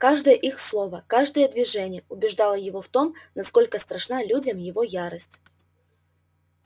каждое их слово каждое движение убеждало его в том насколько страшна людям его ярость